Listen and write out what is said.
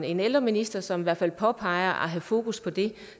en ældreminister som i hvert fald påpeger at hun har fokus på det